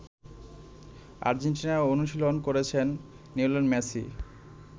আর্জেন্টিনায় অনুশীলন করছেন Lionel Messi.